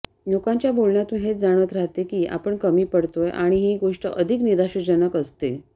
लोकांच्या बोलण्यातून हेच जाणवत राहते की आपण कमी पडतोय आणि ही गोष्ट अधिक निराशाजनक असते